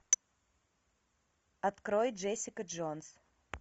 открой джессика джонс